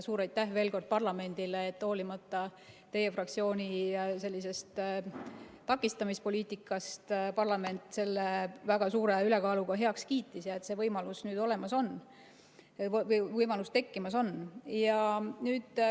Suur aitäh veel kord parlamendile, et hoolimata teie fraktsiooni takistamispoliitikast, parlament selle väga suure ülekaaluga heaks kiitis ja see võimalus nüüd tekkimas on.